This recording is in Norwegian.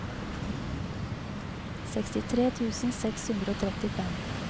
sekstitre tusen seks hundre og trettifem